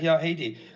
Hea Heidy!